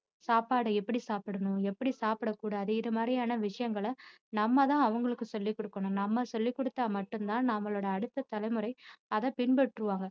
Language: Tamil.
சாப்பாட எப்படி சாப்பிடணும் எப்படி சாப்பிட கூடாது இது மாதிரியான விஷயங்களை நம்ம தான் அவங்களுக்கு சொல்லி கொடுக்கணும் நம்ம சொல்லிக்கொடுத்தா மட்டும்தான் அவங்களோட அடுத்த தலைமுறை அதை பின்பற்றுவாங்க